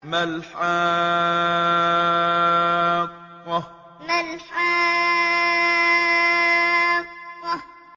مَا الْحَاقَّةُ مَا الْحَاقَّةُ